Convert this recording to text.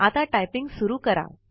आता टाइपिंग सुरु करा